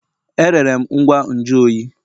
Erere m ngwa nju oyi.